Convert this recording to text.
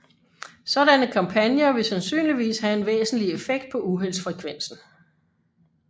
Sådanne kampagner vil sandsynligvis have en væsentlig effekt på uheldsfrekvensen